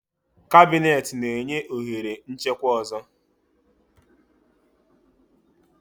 Cabineti na-enye ohere nchekwa ọzọ.